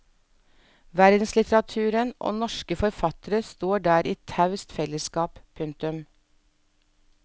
Verdenslitteraturen og norske forfattere står der i taust fellesskap. punktum